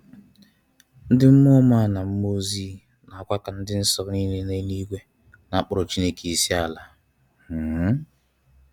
Ndi mmuọ ọma/mmuo ozi na kwa ndi nso nile no n'eluigwe na akporo Chineke isiala um